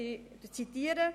ich zitiere: